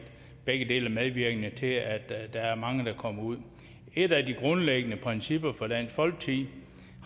begge dele er medvirkende til at der er mange der kommer ud et af de grundlæggende principper for dansk folkeparti